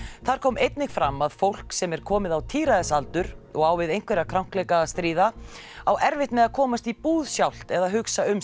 þar kom einnig fram að fólk sem er komið á og á við einhverja krankleika að stríða á erfitt með að komast í búð sjálft eða hugsa um